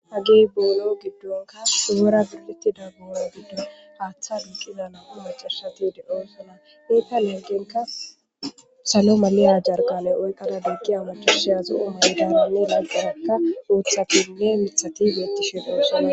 hagey boolo giddonka oora gidlittida boona giddon haaththa duqiza nabu macashati de7oy fona nekka leggenka salo malena jargale oykkada biggiya machashe azo7o manedananne naa garakka ooththatinne mithati beettishe doosona